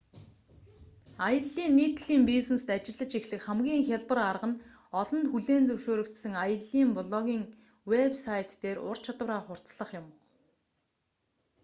аяллын нийтлэлийн бизнест ажиллаж эхлэх хамгийн хялбар арга нь олонд хүлээн зөвшөөрөгдсөн аяллын блогын вэб сайт дээр ур чадвараа хурцлах юм